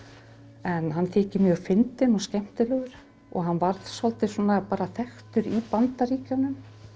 en hann þykir mjög fyndinn og skemmtilegur og hann varð svolítið bara þekktur í Bandaríkjunum